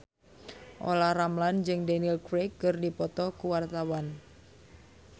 Olla Ramlan jeung Daniel Craig keur dipoto ku wartawan